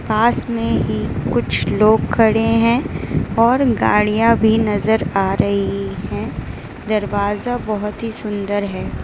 पास में ही कुछ लोग खड़े है और गाड़ियां भी नजर आ रही है दरवाजा बहोत ही सुंदर है।